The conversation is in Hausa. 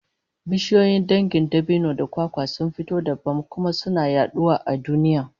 Bishiyoyi dangin dabino da kwakwa sun fita dabam, kuma suna yaduwa a duniya